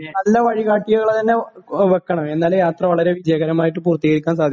നല്ല വഴികാട്ടികളെ തന്നെ വെക്കണം എന്നാലേ യാത്ര വളരെ വിജയകരമായിട്ട് പൂർത്തീകരിക്കാൻ സാധിക്കുള്ളൂ